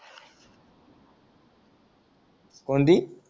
कोणती